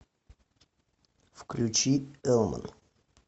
включи элман